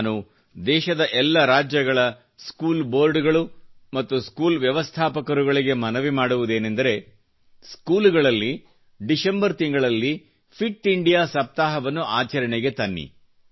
ನಾನು ದೇಶದ ಎಲ್ಲ ರಾಜ್ಯಗಳ ಸ್ಕೂಲ್ ಬೋರ್ಡಗಳು ಮತ್ತು ಸ್ಕೂಲ್ ವ್ಯವಸ್ಥಾಪಕರುಗಳಿಗೆ ಮನವಿ ಮಾಡುವುದೇನಂದರೆ ಸ್ಕೂಲುಗಳಲ್ಲಿ ಡಿಶೆಂಬರ್ ತಿಂಗಳಲ್ಲಿ ಫಿಟ್ ಇಂಡಿಯಾ ಸಪ್ತಾಹವನ್ನು ಆಚರಣೆಗೆ ತನ್ನಿರಿ